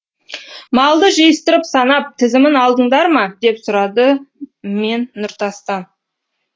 малды жиыстырып санап тізімін алдыңдар ма деп сұрады мен нұртастан